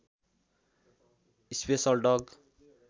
special डग